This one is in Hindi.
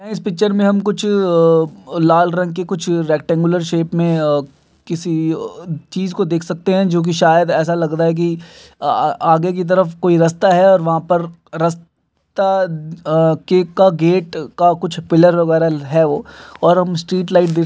इस पिक्चर में हम कुछ लाल रंग के कुछ रेक्टेंगुलर शेप में किसी चीज़ को देख सकते है जोकि शायद ऐसा लग रहा है की आगे की तरफ कोई रस्ता है वहाँ पर रस्ता के का गेट का कुछ पिलर वगेरा है वो और हम स्ट्रीट लाइट भी --